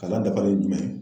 Kalan dafalen ye jumɛn?